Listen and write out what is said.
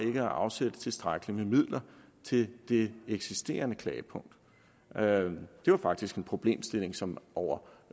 ikke at afsætte tilstrækkelige midler til det eksisterende klagepunkt det var faktisk en problemstilling som over